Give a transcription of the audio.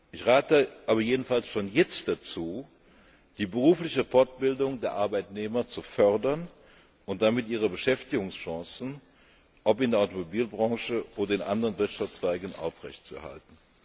Ich rate aber jedenfalls schon jetzt dazu, die berufliche Fortbildung der Arbeitnehmer zu fördern und damit ihre Beschäftigungschancen, ob in der Automobilbranche oder in anderen Wirtschaftszweigen, aufrechtzuerhalten.